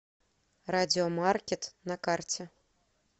радиомаркет на карте